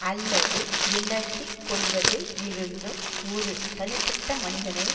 அல்லது விளக்கி கொள்வதில் இருந்தும் ஒரு தனிப்பட்ட மனிதனை